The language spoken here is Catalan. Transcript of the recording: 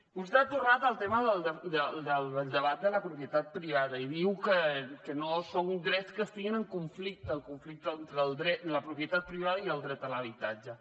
vostè ha tornat al tema del debat de la propietat privada i diu que no són drets que estiguin en conflicte el conflicte entre la propietat privada i el dret a l’habitatge